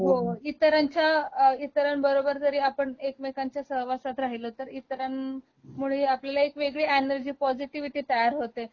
हो, इतरांच्या अ इतरांबरोबर जरी आपण एकमेकांच्या सहवासात राहिलोत तर इतरांमुळे एक वेगळी अॅनर्जी पॉजिटिव्हिटी तयार होते